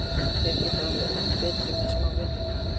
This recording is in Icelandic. Þeir geta orðið enn betri með smá vinnu.